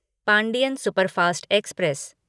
Pandian superfast express